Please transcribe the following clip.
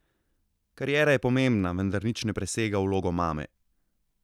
Kariera je pomembna, vendar nič ne presega vloge mame.